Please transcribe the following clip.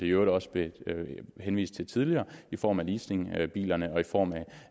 i øvrigt også blev henvist til tidligere i form af leasingbilerne og i form